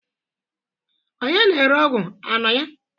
Onye na-ere ọgwụ anọ ya?